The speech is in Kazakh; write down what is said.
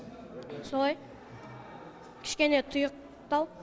солай кішкене тұйықтау